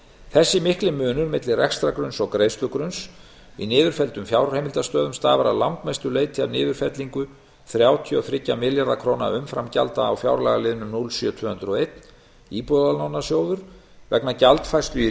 þessi mikli munur milli rekstrargrunns og greiðslugrunns í niðurfelldum fjárheimildastöðum stafar að langmestu leyti af niðurfellingu þrjátíu og þrjá milljarða króna umframgjalda á fjárlagaliðnum núll sjö til tvö hundruð og einn íbúðalánasjóður vegna gjaldfærslu í